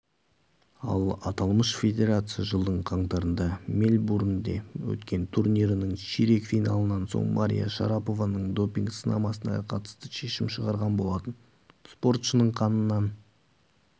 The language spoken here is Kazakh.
ал аталмыш федерация жылдың қаңтарында мельбурнде өткен турнирінің ширек финалынан соң мария шарапованың допинг сынамасына қатысты шешім шығарған болатын спортшының қанынан